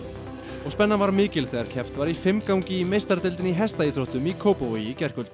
og spennan var mikil þegar keppt var í fimmgangi í meistaradeildinni í hestaíþróttum í Kópavogi í gærkvöld